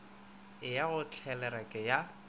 e ya go tlelereke ya